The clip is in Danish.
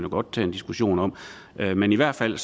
godt tage en diskussion om men i hvert fald